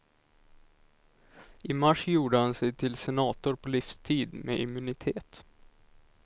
I mars gjorde han sig till senator på livstid med immunitet.